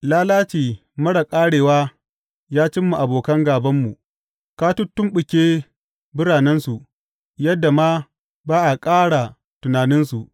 Lalaci marar ƙarewa ya cimma abokan gābanmu, ka tuttumɓuke biranensu; yadda ma ba aka ƙara tunaninsu.